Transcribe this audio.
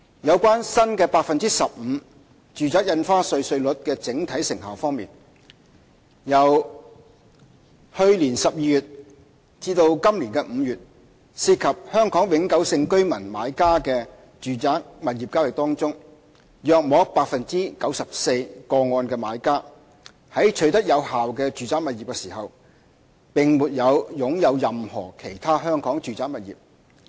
有關新的 15% 住宅印花稅稅率的整體成效方面，由去年12月至今年5月，涉及香港永久性居民買家的住宅物業交易個案中，約 94% 的買家在取得有關住宅物業時並沒有擁有任何其他香港住宅物業。